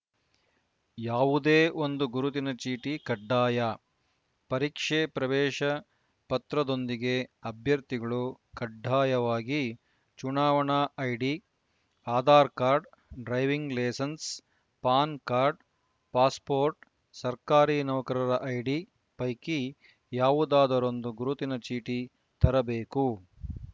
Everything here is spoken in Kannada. ಯಾವುದೇ ಒಂದು ಗುರುತಿನ ಚೀಟಿ ಕಡ್ಡಾಯ ಪರೀಕ್ಷೆ ಪ್ರವೇಶ ಪತ್ರದೊಂದಿಗೆ ಅಭ್ಯರ್ಥಿಗಳು ಕಡ್ಡಾಯವಾಗಿ ಚುನಾವಣಾ ID Aadhaar card driving licence PAN card passport ಸರ್ಕಾರಿ ನೌಕರರ ಐಡಿ ಪೈಕಿ ಯಾವುದಾದರೊಂದು ಗುರುತಿನ ಚೀಟಿ ತರಬೇಕು